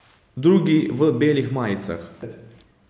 Drugi v belih majicah.